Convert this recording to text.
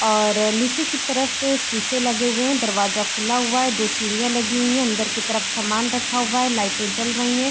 और नीचे की तरफ शीशे लगे हुए हैं दरवाजे खुला हुआ है दो सीढ़ियाँ लगी हुई हैं अंदर के तरफ सामान रखा हुआ है लाइटें जल रही हैं।